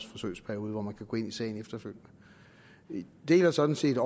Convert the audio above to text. forsøgsperiode hvor man kan gå ind i sagen efterfølgende vi deler sådan set